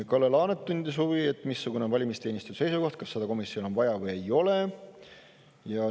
Kalle Laanet tundis huvi, missugune on valimisteenistuse seisukoht: kas seda komisjon on vaja või ei ole?